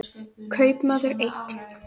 Kaupmaður einn.